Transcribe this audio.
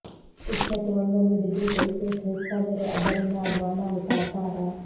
ಉಷ್ಣತೆ ಒಂದೊಂದು degree Celsius ಹೆಚ್ಚಾದರೂ ಅದರಿಂದ ಆಗುವ ಅನಾಹುತ ಅಪಾರ